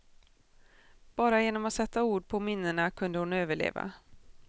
Bara genom att sätta ord på minnena kunde hon överleva.